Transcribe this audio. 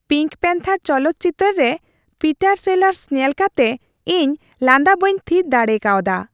Pink panther ᱪᱚᱞᱚᱛ ᱪᱤᱛᱟᱹᱨ ᱨᱮ ᱯᱤᱴᱟᱨ ᱥᱮᱞᱟᱨᱥ ᱧᱮᱞ ᱠᱟᱛᱮ ᱤᱧ ᱞᱟᱸᱫᱟ ᱵᱟᱹᱧ ᱛᱷᱤᱨ ᱫᱟᱲᱮ ᱠᱟᱣᱫᱟ ᱾